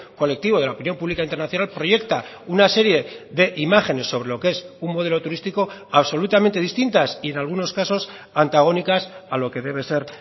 colectivo de la opinión pública internacional proyecta una serie de imágenes sobre lo que es un modelo turístico absolutamente distintas y en algunos casos antagónicas a lo que debe ser